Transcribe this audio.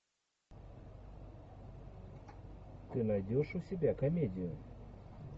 ты найдешь у себя комедию